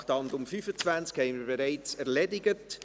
Das Traktandum 25 haben wir bereits erledigt.